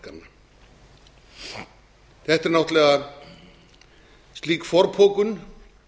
höfuðborgarmarkanna þetta er náttúrlega slík forpokun